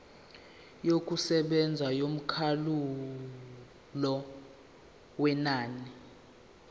yokusebenza yomkhawulo wenani